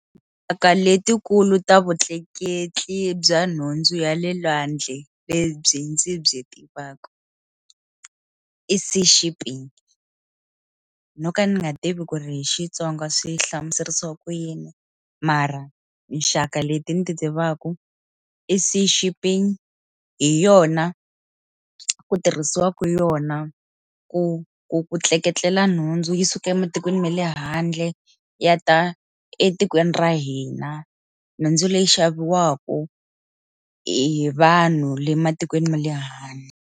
Ka letikulu ta vutleketli bya nhundzu ya le lwandle lebyi ndzi byi tivaka i Sea shipping no ka ni nga tivi ku ri hi Xitsonga swi hlamuseriwa ku yini mara nxaka leti ndzi tivaka i Sea shipping hi yona ku tirhisiwa ka yona ku ku ku tleketlela nhundzu yi suka ematikweni ma le handle ya ta etikweni ra hina nhundzu leyi xaviwaka hi vanhu le matikweni ma le handle.